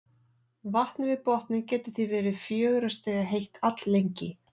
Vatnið við botninn getur því verið fjögurra stiga heitt alllengi.